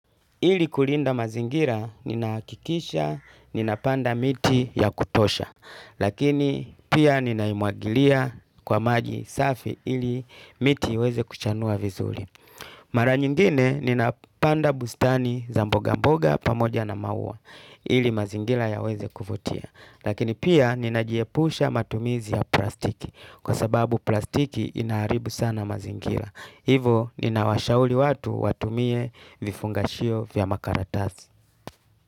Ili kulinda mazingira, ninahakikisha, ninapanda miti ya kutosha, lakini pia ninaimwagilia kwa maji safi ili miti iweze kuchanua vizuri. Mara nyingine, ninapanda bustani za mboga mboga pamoja na maua, ili mazingira yaweze kuvutia. Lakini pia, ninajiepusha matumizi ya plastiki, kwa sababu plastiki inaharibu sana mazingira. Hivo ninawashauri watu watumie vifungashio vya makaratasi.